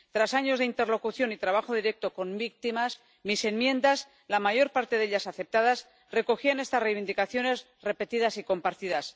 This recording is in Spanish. Tras años de interlocución y trabajo directo con víctimas, mis enmiendas —la mayor parte de ellas aceptadas— recogían estas reivindicaciones repetidas y compartidas.